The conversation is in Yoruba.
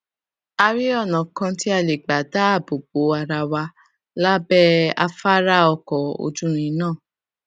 a rí ònà kan tí a lè gbà dáàbò bo ara wa lábé afárá ọkò ojúirin náà